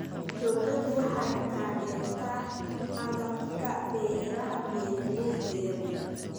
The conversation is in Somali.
Dawladdu waxay taageertaa agabka beeraha beeralayda yar yar.